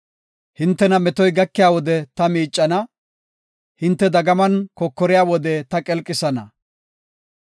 Hintena metoy gakiya wode ta miicana; hinte dagaman kokoriya wode ta qelqisana.